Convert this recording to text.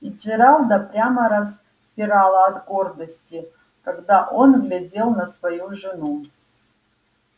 и джералда прямо распирало от гордости когда он глядел на свою жену